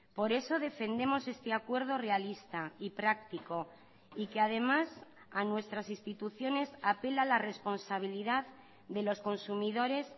por eso defendemos este acuerdo realista y práctico y que además a nuestras instituciones apela la responsabilidad de los consumidores